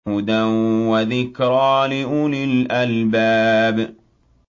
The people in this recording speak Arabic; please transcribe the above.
هُدًى وَذِكْرَىٰ لِأُولِي الْأَلْبَابِ